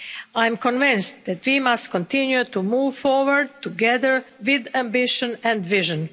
I am convinced that we must continue to move forward together with ambition and vision.